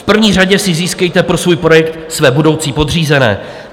V první řadě si získejte pro svůj projekt své budoucí podřízené.